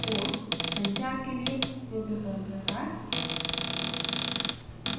portसंचार के लिए protocol प्रकार